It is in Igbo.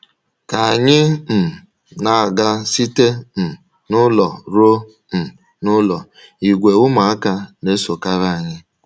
Ka anyị um na-aga site um n’ụlọ ruo um n’ụlọ, ìgwè ụmụaka na-esokarị anyị.